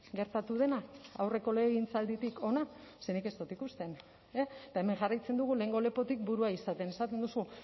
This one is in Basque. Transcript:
gertatu dena aurreko legegintzalditik hona ze nik ez dut ikusten eta hemen jarraitzen dugu lehengo lepotik burua izaten esaten duzu